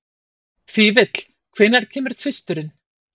Fífill, hvenær kemur tvisturinn?